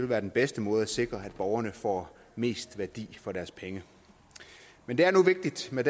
være den bedste måde at sikre på at borgerne får mest værdi for deres penge men det er nu vigtigt med